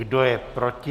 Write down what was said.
Kdo je proti?